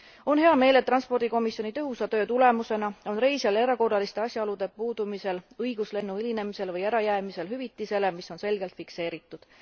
On hea meel, et transpordikomisjoni tõhusa töö tulemusena on reisijal erakorraliste asjaolude puudumisel õigus lennu hilinemisel või ärajäämisel hüvitisele, mis on selgelt fikseeritud.